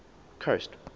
coast